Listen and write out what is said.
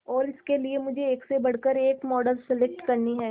और इसके लिए मुझे एक से बढ़कर एक मॉडल सेलेक्ट करनी है